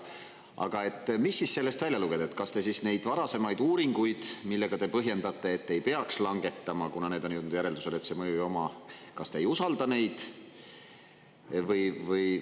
Aga mis siis sellest välja lugeda, kas te siis neid varasemaid uuringuid, millega te põhjendate, et ei peaks langetama, kuna need on jõudnud järeldusele, et see mõju ei oma, kas te ei usalda neid?